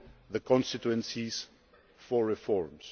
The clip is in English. the constituencies for reforms.